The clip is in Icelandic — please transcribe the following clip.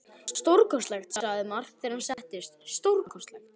Stórkostlegt, sagði Mark þegar hann settist, stórkostlegt.